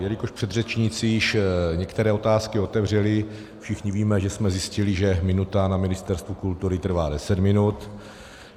Jelikož předřečníci již některé otázky otevřeli, všichni víme, že jsme zjistili, že minuta na Ministerstvu kultury trvá deset minut.